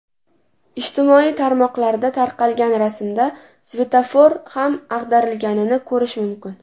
Ijtimoiy tarmoqlarda tarqalgan rasmda svetofor ham ag‘darilganini ko‘rish mumkin.